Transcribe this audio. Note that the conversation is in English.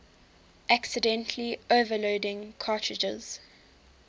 accidentally overloading cartridges